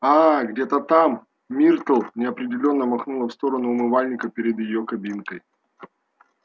аа где-то там миртл неопределённо махнула в сторону умывальника перед её кабинкой